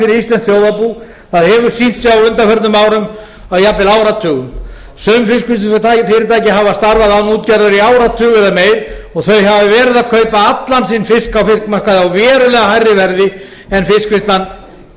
íslenskt þjóðarbú það hefur sýnt sig á undanförnum árum og jafnvel áratugum sum fiskvinnslufyrirtæki hafa starfað án útgerðar í áratug eða meira og þau hafa verið að kaupa allan sinn fisk á fiskmarkaði á verulega hærra verði en fiskvinnslan